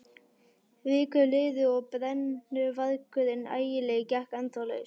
Vikur liðu og BRENNUVARGURINN ÆGILEGI gekk ennþá laus.